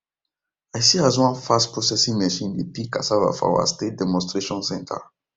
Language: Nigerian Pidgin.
i see as one fastprocessing machine dey peel cassava for our state demonstration centre